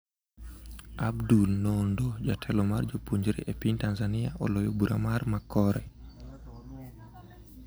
Abdul Nondo: Jatelo mar jopuonjre e piny Tanzania oloyo bura mar 'makore'.